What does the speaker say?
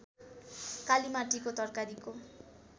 कालिमाटीको तरकारीको